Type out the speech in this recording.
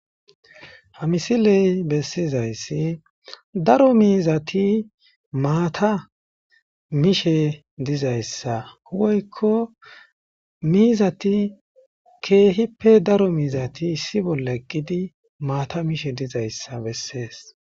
Ha misiley bessizayssi daro miizati maata mishe dizayssa huwoykko miizati keehippe daro miizati issi bolla eqqidi maata mishe dizayssa bessees